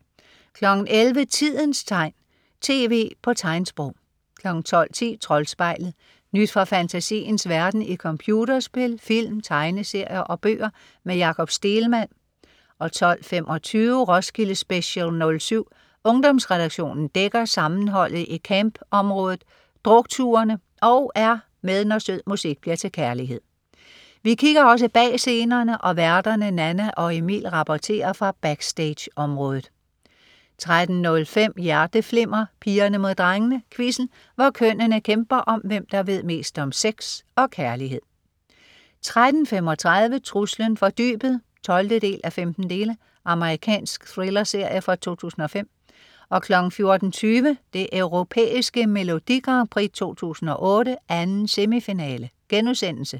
11.00 Tidens tegn, TV på tegnsprog 12.10 Troldspejlet. Nyt fra fantasiens verden i computerspil, film, tegneserier og bøger. Med Jakob Stegelmann 12.25 Roskilde Special '07. Ungdomsredaktionen dækker sammenholdet i camp området, drukturene og er med når sød musik bliver til kærlighed. Vi kigger også bag scenerne og værterne Nanna og Emil rapporterer fra backstage området 13.05 Hjerteflimmer: Pigerne mod drengene. Quizzen, hvor kønnene kæmper om, hvem der ved mest om sex og kærlighed 13.35 Truslen fra dybet 12:15. Amerikansk thrillerserie fra 2005 14.20 Det Europæiske Melodi Grand Prix 2008, 2. semifinale*